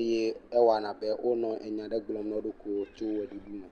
eye woɔw abe wole nya aɖe gblɔm na wo nɔeawo to eʋe ɖuɖu me.